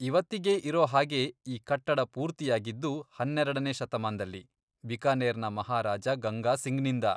ಇವತ್ತಿಗೆ ಇರೋ ಹಾಗೆ ಈ ಕಟ್ಟಡ ಪೂರ್ತಿಯಾಗಿದ್ದು ಹನ್ನೆರಡನೇ ಶತಮಾನ್ದಲ್ಲಿ, ಬಿಕಾನೇರ್ನ ಮಹಾರಾಜ ಗಂಗಾಸಿಂಗ್ನಿಂದ.